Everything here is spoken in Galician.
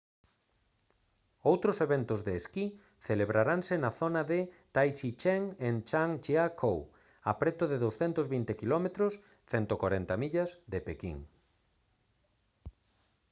outros eventos de esquí celebraranse na zona de taizicheng en zhangjiakou a preto de 220 km 140 millas de pequín